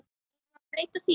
Eigum við að breyta því?